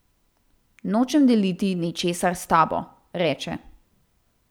Nočem deliti ničesar s tabo, reče.